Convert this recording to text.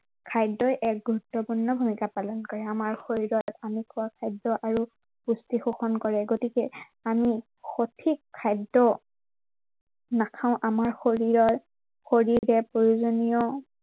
খাদ্য়ই এক গুৰুত্বপূৰ্ণ ভূমিকা পালন কৰে। আমাৰ শৰীৰত আমি খোৱা খাদ্য় আৰু পুষ্টি পোষণ কৰে। গতিকে আমি সঠিক খাদ্য় নাখাও, আমাৰ শৰীৰৰ, শৰীৰটোৱে প্ৰয়োজনীয়